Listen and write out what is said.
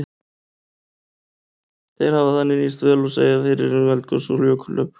Þeir hafa þannig nýst vel til að segja fyrir um eldgos og jökulhlaup.